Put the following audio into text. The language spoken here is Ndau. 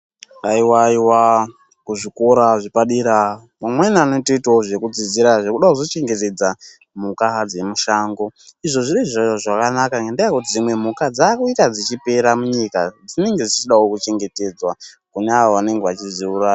Awaiwa aiwa ku zvikora zvepa dera amweni anotooitawo zveku dzidzira zvekuda kuzo chengetedza mhuka dze mushango izvo ndizvo zvakanaka ngenda yekuti dzimwe mhuka dzakuita dzichipera mu nyika dzinenge dzichidawo ku chengetedzwa kune avo vanenge vachidzi uraya.